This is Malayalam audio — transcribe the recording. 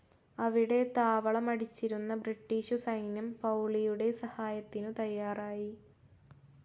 അവിടെ താവളമടിച്ചിരുന്ന ബ്രിട്ടീഷു സൈന്യം പൗളിയുടെ സഹായത്തിനു തയ്യാറായി.